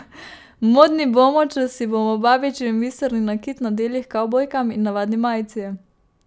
Modni bomo, če si bomo babičin biserni nakit nadeli h kavbojkam in navadni majici.